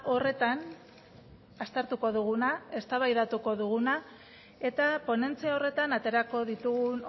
horretan aztertuko duguna eztabaidatuko duguna eta ponentzia horretan aterako ditugun